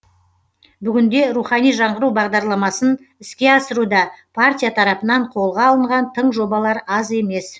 бүгінде рухани жаңғыру бағдарламасын іске асыруда партия тарапынан қолға алынған тың жобалар аз емес